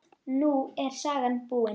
Nú er sagan búin.